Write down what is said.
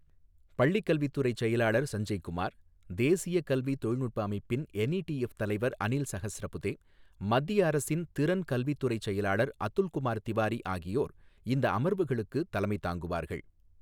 பள்ளிக் கல்வித்துறை செயலாளர் சஞ்சய் குமார், தேசிய கல்வித் தொழில்நுட்ப அமைப்பின் என்இடிஎஃப் தலைவர் அனில் சஹஸ்ரபுதே, மத்திய அரசின் திறன் கல்வித்துறைச் செயலாளர் அதுல்குமார் திவாரி ஆகியோர் இந்த அமர்வுகளுக்கு தலைமை தாங்குவார்கள்.